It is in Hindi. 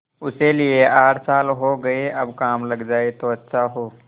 उसे लिये आठ साल हो गये अब काम लग जाए तो अच्छा हो